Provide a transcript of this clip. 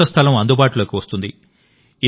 కొత్త స్థలం అందుబాటులోకి వస్తుంది